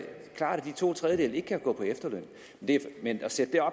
de to tredjedele ikke kan gå på efterløn men at sætte